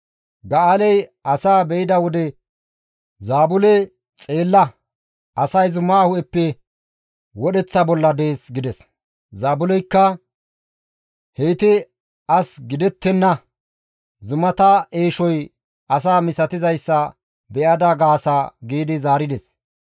Ga7aaley asaa be7ida wode Zaabule, «Xeella! Asay zumaa hu7eppe wodheththa bolla dees» gides. Zaabuleykka, «Heyti as gidettenna; zumata eeshoy asa misatizayssa be7ada gaasa» giidi zaarides.